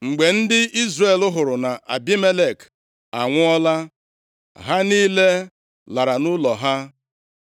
Mgbe ndị Izrel hụrụ na Abimelek anwụọla, ha niile lara nʼụlọ ha.